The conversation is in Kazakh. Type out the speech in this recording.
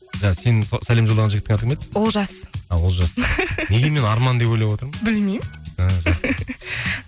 сенің сәлем жолдаған жігіттің аты кім еді олжас а олжас неге мен арман деп ойлап отырмын білмеймін